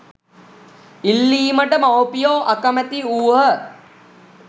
ඉල්ලීමට මවුපියෝ අකැමැති වූහ.